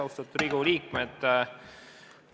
Austatud Riigikogu liikmed!